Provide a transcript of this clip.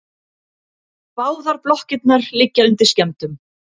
Báðar blokkirnar liggja undir skemmdum